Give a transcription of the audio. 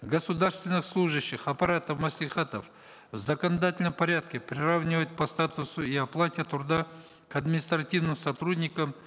государственных служащих аппаратов маслихатов в законодательном порядке приравнивать по статусу и оплате труда к административным сотрудникам